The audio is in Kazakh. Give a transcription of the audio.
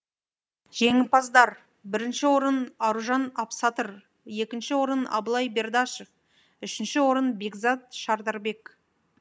жеңімпаздар бірінші орын аружан абсатыр екінші орын абылай бердашев үшінші орын бекзат шардарбек